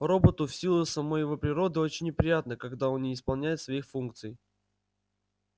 роботу в силу самой его природы очень неприятно когда он не исполняет своих функций